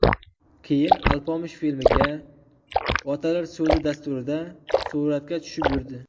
Keyin ‘Alpomish’ filmiga, ‘Otalar so‘zi’ dasturida suratga tushib yurdi.